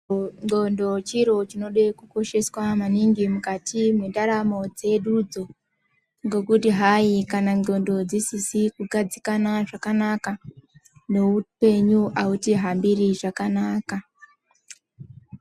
Ndxondo chiro chinode kukosheswa mukati mwendaramo dzedudzo ngekuti hayi kana ndxondo dzisizi kugadzikana zvakanaka neupenyu autihambiri zvakanaka.